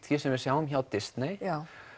því sem við sjáum hjá Disney